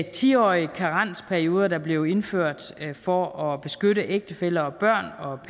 ti årige karensperioder der blev indført for at beskytte ægtefæller og børn og au